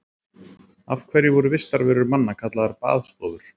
Af hverju voru vistarverur manna kallaðar baðstofur?